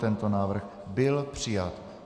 Tento návrh byl přijat.